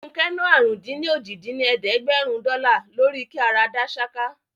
Fúnkẹ́ ná àrún-dín-ní-ojì dín ní ẹ̀ẹ́dẹ́gbẹ́rún dọ́là lórí kí ara dá ṣáká